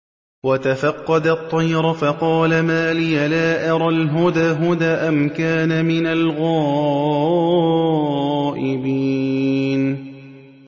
وَتَفَقَّدَ الطَّيْرَ فَقَالَ مَا لِيَ لَا أَرَى الْهُدْهُدَ أَمْ كَانَ مِنَ الْغَائِبِينَ